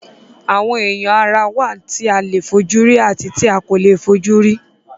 Àwọn ẹ́ya ara wá tí a lè fojú rí àti tí a kòle fojú rí